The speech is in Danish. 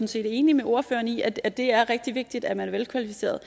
set enig med ordføreren i at det er rigtig vigtigt at man er velkvalificeret